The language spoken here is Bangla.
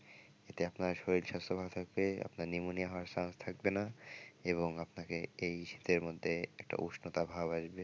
এতে আপনার শরীর স্বাস্থ্য ভালো থাকবে আপনার pneumonia হওয়ার chance থাকবেনা এবং আপনাকে এই শীতের মধ্যে একটা উষ্ণতা ভাব আসবে।